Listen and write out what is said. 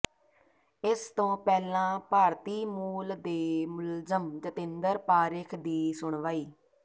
ਇਸ ਤੋਂ ਪਹਿਲਾਂ ਭਾਰਤੀ ਮੂਲ ਦੇ ਮੁਲਜ਼ਮ ਜਤਿੰਦਰ ਪਾਰੇਖ ਦੀ ਸੁਣਵਾਈ